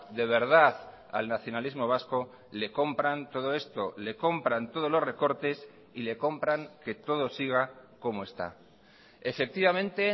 de verdad al nacionalismo vasco le compran todo esto le compran todos los recortes y le compran que todo siga como está efectivamente